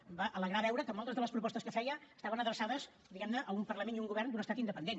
em va alegrar veure que moltes de les propostes que feia estaven adreçades diguem ne a un parlament i a un govern d’un estat independent